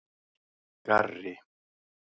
Garri